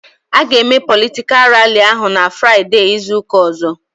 A ga eme politikal ralli ahụ n'Fraideee izuka ọzọ